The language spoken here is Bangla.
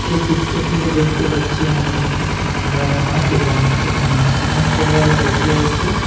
এই চিত্রটিতে দেখতে পাচ্ছি আমি এটি একটি খেলার মাঠ এবং এখানে অনেক সবাই বসে আছে ।